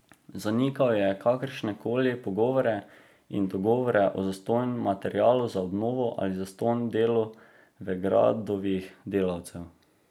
Zanikal je kakršnekoli pogovore in dogovore o zastonj materialu za obnovo ali zastonj delu Vegradovih delavcev.